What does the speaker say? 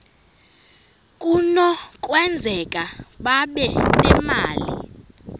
kunokwenzeka babe nemali